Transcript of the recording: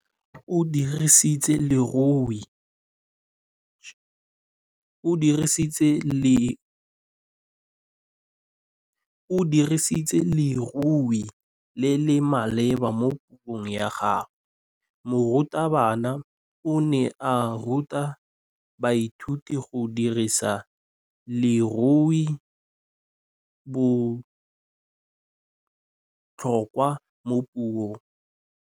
O dirisitse lerêo le le maleba mo puông ya gagwe. Morutabana o ne a ruta baithuti go dirisa lêrêôbotlhôkwa mo puong.